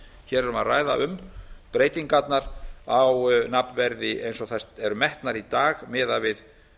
hér erum við að ræða um breytingarnar á nafnverði eins og þær eru metnar í dag miðað við